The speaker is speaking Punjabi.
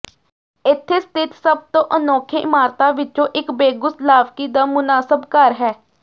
ਇੱਥੇ ਸਥਿਤ ਸਭ ਤੋਂ ਅਨੋਖੇ ਇਮਾਰਤਾਂ ਵਿਚੋਂ ਇਕ ਬੋਗੁਸਲਾਵਕੀ ਦਾ ਮੁਨਾਸਬ ਘਰ ਹੈ